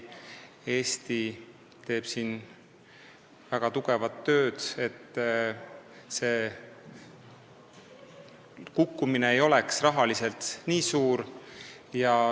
Eesti teeb siin väga tugevat tööd, et see kukkumine ei oleks rahaliselt nii suur.